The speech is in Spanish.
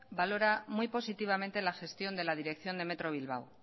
valora muy positivamente la gestión de la dirección de metro bilbao